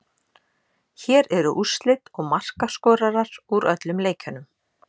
Hér eru úrslit og markaskorarar úr öllum leikjunum: